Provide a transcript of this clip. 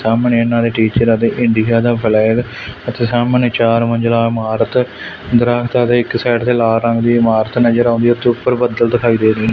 ਸਾਮਣੇ ਇਨਾਂ ਦੇ ਟੀਚਰ ਅਤੇ ਇੰਡੀਗਾ ਦਾ ਫਲੈਗ ਅਤੇ ਸਾਹਮਣੇ ਚਾਰ ਮੰਜ਼ਿਲ੍ਹਾ ਇਮਾਰਤ ਦਰੱਖਤ ਇੱਕ ਸਾਈਡ ਤੇ ਲਾਲ ਰੰਗ ਦੀ ਇਮਾਰਤ ਨਜ਼ਰ ਆਉਂਦੀ ਉਸ ਤੋਂ ਉੱਪਰ ਬੱਦਲ ਦਿਖਾਈ ਦੇ ਰਹੀ ਹੈ।